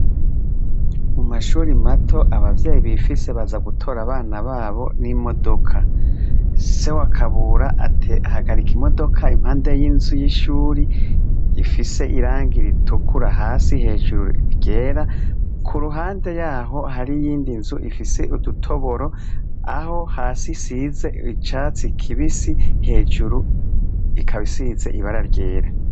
Mu mashuri mato, abavyeyi bifise baza gutora abana babo n'imodoka.Se wa kabura ahagarika imodoka impande y'inzu y'ishuri ifise irangi ritukura hasi, hejuru ryera, ku ruhande y'aho hari iyindi nzu ifise udutoboro, aho hasi isize icatsi kibisi, hejuru ikaba isize ibara ryera.